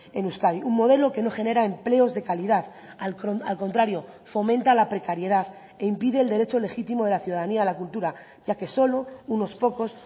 en euskadi un modelo que no genera empleos de calidad al contrario fomenta la precariedad e impide el derecho legítimo de la ciudadanía a la cultura ya que solo unos pocos